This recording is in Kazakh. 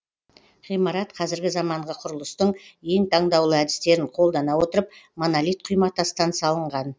ғимарат қазіргі заманғы құрылыстың ең таңдаулы әдістерін қолдана отырып монолит құйматастан салынған